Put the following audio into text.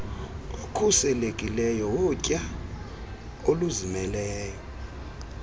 okhuselekileyo wokutya oluzimeleyo